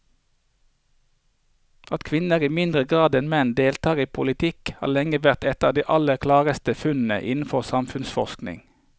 At kvinner i mindre grad enn menn deltar i politikken har lenge vært et av de aller klareste funnene innenfor samfunnsforskningen.